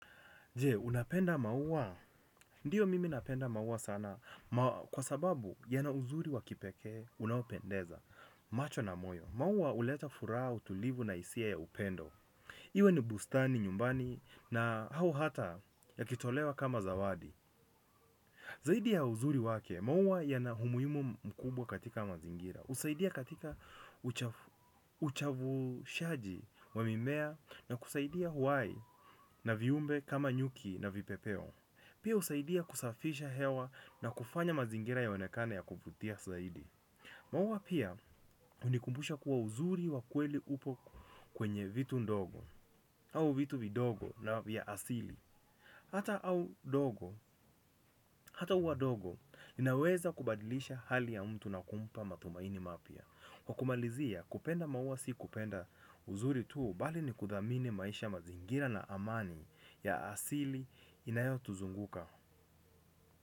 Je, unapenda maua? Ndiyo mimi napenda maua sana kwa sababu yana uzuri wa kipekee unaopendeza macho na moyo. Maua huleta furaha utulivu na hisia ya upendo. Iwe ni bustani nyumbani na au hata yakitolewa kama zawadi. Zaidi ya uzuri wake maua yana umuhimu mkubwa katika mazingira. Usaidia katika uchavushaji wa mimea na kusaidia uhai na viumbe kama nyuki na vipepeo. Pia usaidia kusafisha hewa na kufanya mazingira yaonekane ya kuvutia zaidi. Maua pia, unikumbusha kuwa uzuri wa kweli upo kwenye vitu ndogo, au vitu vidogo na vya asili. Hata au dogo, hata ua dogo linaweza kubadilisha hali ya mtu na kumpa matumaini mapya kwa kumalizia, kupenda maua si kupenda uzuri tu, bali ni kuthamini maisha ya mazingira na amani ya asili inayotuzunguka.